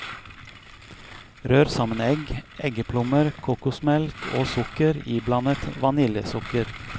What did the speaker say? Rør sammen egg, eggeplommer, kokosmelk og sukker iblandet vaniljesukker.